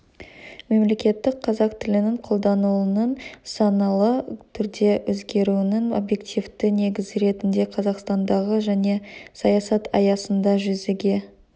мемлекеттік қазақ тілінің қолданылуының саналы түрде өзгеруінің объективті негізі ретінде қазақстандағы жаңа саясат аясында жүзеге